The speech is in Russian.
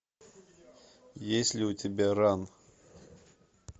есть ли у тебя ран